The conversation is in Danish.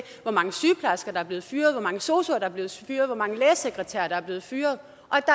hvor mange sygeplejersker der er blevet fyret hvor mange sosuer der er blevet fyret hvor mange lægesekretærer der er blevet fyret